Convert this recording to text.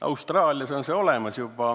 Austraalias on see juba reaalsus.